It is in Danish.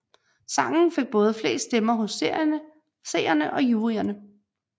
Sangen fik både flest stemmer hos seerne og juryerne